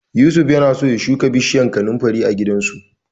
Yusuf yana so shuka bishiyar kanunfari a gidansu.